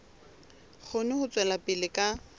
kgone ho tswela pele ka